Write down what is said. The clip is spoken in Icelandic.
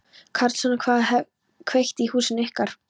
Karlsson hefði kveikt í húsinu ykkar.